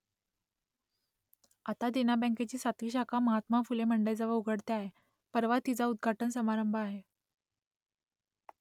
आता देना बँकेची सातवी शाखा महात्मा फुले मंडईजवळ उघडते आहे परवा तिचा उद्घाटन समारंभ आहे